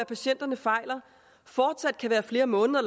patienterne fejler fortsat kan være flere måneder